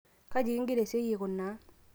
kaji kingira esiai aikunaa?